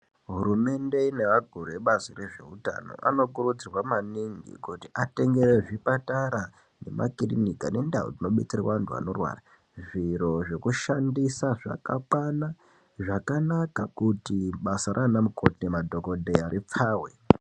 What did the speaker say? Hurumende neakuru ebazi rezveutano anokurudzirwe maningi kuti atengere zvipatara nemakirinika nekundau dzinodetserwa antu anorwara zviro zvekushandisa zvakakwana, zvakanaka kuti basa raana mukoti nemadhogodheya ripfave.